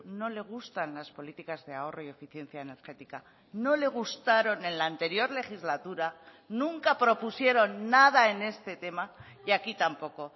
no le gustan las políticas de ahorro y eficiencia energética no le gustaron en la anterior legislatura nunca propusieron nada en este tema y aquí tampoco